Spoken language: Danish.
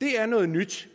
det er noget nyt